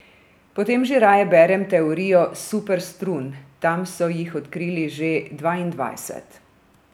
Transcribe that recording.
Potem že raje berem teorijo super strun, tam so jih odkrili že dvaindvajset.